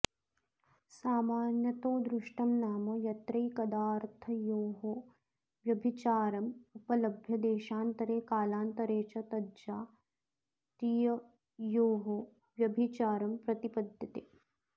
सामान्यतोदृष्टं नाम यत्रैकदाऽर्थयोरव्यभिचारमुपलभ्य देशान्तरे कालान्तरे च तज्जातीययोरव्यभिचारं प्रतिपद्यते